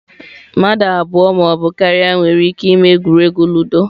mmadụ abụọ ma ọ bụ karịa nwere ike ịme egwuregwu ludo.